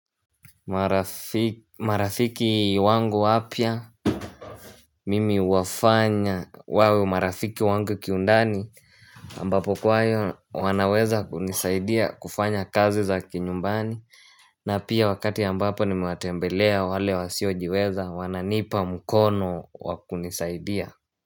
Marafiki wangu wapya Mimi huwafanya wawe marafiki wangu kiundani ambapo kwaiyo wanaweza kunisaidia kufanya kazi za kinyumbani na pia wakati ambapo nimewatembelea wale wasiojiweza Wananipa mkono wa kunisaidia.